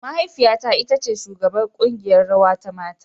Mahaifiyata ita ce shugabar kungiƴar rawa ta mata.